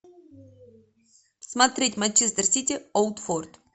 смотреть манчестер сити оутфорд